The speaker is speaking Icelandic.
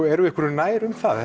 erum við einhverju nær um það